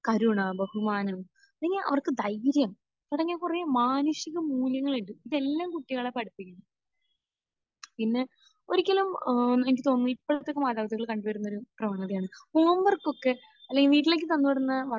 കരുണ, ബഹുമാനം, പിന്നെ അവർക്ക് ധൈര്യം തുടങ്ങിയ കുറെ മാനുഷികമൂല്യങ്ങളുണ്ട്. ഇതെല്ലാം കുട്ടികളെ പഠിപ്പിക്കണം. പിന്നെ ഒരിക്കലും ഏഹ് എനിക്ക് തോന്നുന്നു ഇപ്പോഴത്തെ മാതാപിതാക്കളിൽ കണ്ട് വരുന്നൊരു പ്രവണതയാണ് ഹോംവർക്കൊക്കെ അല്ലെങ്കിൽ വീട്ടിലേക്ക് തന്ന് വിടുന്ന വർക്ക്